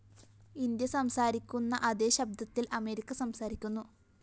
India സംസാരിക്കുന്ന അതേ ശബ്ദത്തില്‍ അമേരിക്ക സംസാരിക്കുന്നു